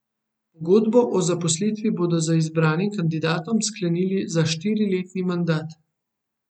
Pogodbo o zaposlitvi bodo z izbranim kandidatom sklenili za štiriletni mandat.